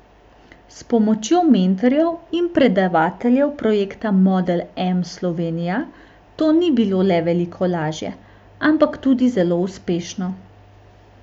S pomočjo mentorjev in predavateljev projekta Model M Slovenija to ni bilo le veliko lažje, ampak tudi zelo uspešno.